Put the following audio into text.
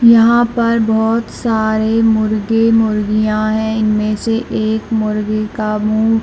यहाँ पर बहुत सारे मुर्गे मुर्गीया है इनमे से एक मुर्गे का मुँह--